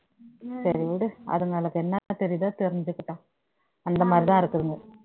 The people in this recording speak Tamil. சரி விடு அதுங்களுக்கு என்ன தெரியுதோ தெரிஞ்சுக்கிட்டும் அந்த மாதிரிதான் இருக்குதுங்க